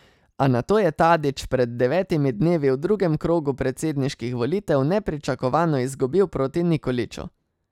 A nato je Tadić pred devetimi dnevi v drugem krogu predsedniških volitev nepričakovano izgubil proti Nikoliću.